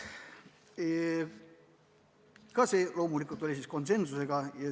Ka see kiideti heaks loomulikult konsensusega.